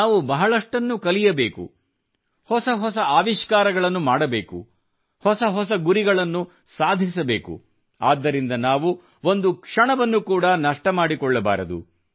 ನಾವು ಬಹಳಷ್ಟನ್ನು ಕಲಿಯಬೇಕು ಹೊಸ ಹೊಸ ಆವಿಷ್ಕಾರಗಳನ್ನು ಮಾಡಬೇಕು ಹೊಸ ಹೊಸ ಗುರಿಗಳನ್ನು ಸಾಧಿಸಬೇಕು ಆದ್ದರಿಂದ ನಾವು ಒಂದು ಕ್ಷಣವನ್ನು ಕೂಡಾ ನಷ್ಟ ಮಾಡಿಕೊಳ್ಳಬಾರದು